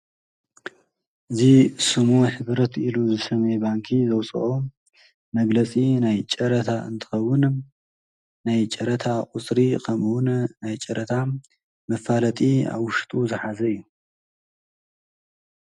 እዙ ስሙ ኅብረት ኢሉ ዝሰሜይ ባንኪ ዘውፅኦ መግለጺ ናይ ጨረታ እንተኸውን ናይ ጨረታ ቝሥሪ ኸምውን ናይ ጨረታ መፋለጢ ኣውሽጡ ዝኃዘ እዩ።